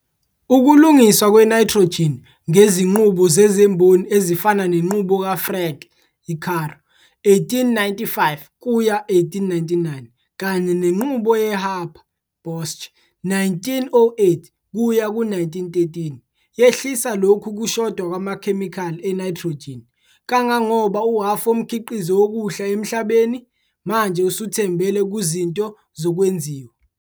Ukulungiswa kwe-nitrogen ngezinqubo zezimboni ezifana nenqubo kaFrank - Caro, 1895-1899, kanye nenqubo yeHaber - Bosch, 1908-1913, yehlisa lokhu kushoda kwamakhemikhali e-nitrogen, kangangoba uhhafu womkhiqizo wokudla emhlabeni, bheka Izicelo, manje usuthembele kuzinto zokwenziwa